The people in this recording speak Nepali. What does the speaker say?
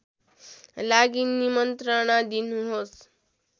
लागि निमन्त्रणा दिनुहोस्